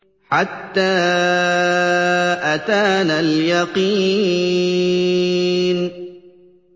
حَتَّىٰ أَتَانَا الْيَقِينُ